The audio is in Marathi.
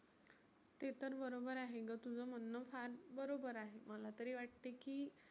ते तर बरोबर आहे ग तुझ म्हणनं फार बरोबर आहे. मला तरी वाटतंय की